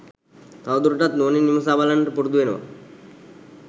තවදුරටත් නුවණින් විමසා බලන්නට පුරුදු වෙනවා